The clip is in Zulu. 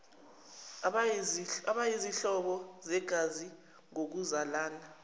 abayizihlobo zegazi ngokuzalana